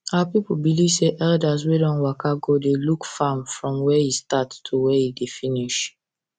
our people believe say elders wey don waka go dey look farm from when e start to when e finish